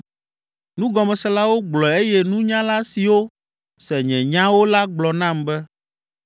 “Nugɔmeselawo gblɔe eye nunyala siwo se nye nyawo la gblɔ nam be,